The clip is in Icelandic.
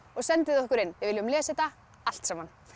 og sendið okkur inn við viljum lesa þetta allt saman